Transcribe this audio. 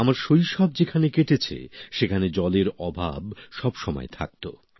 আমার শৈশব যেখানে কেটেছে সেখানে জলের অভাব সবসময় থাকতো